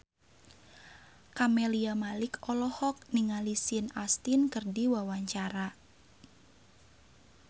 Camelia Malik olohok ningali Sean Astin keur diwawancara